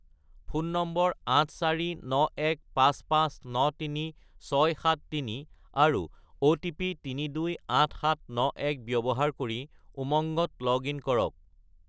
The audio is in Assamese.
ফোন নম্বৰ 84915593673 আৰু অ'টিপি 328791 ব্যৱহাৰ কৰি উমংগত লগ-ইন কৰক।